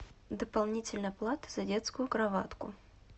дополнительная плата за детскую кроватку